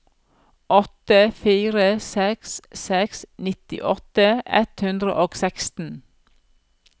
åtte fire seks seks nittiåtte ett hundre og seksten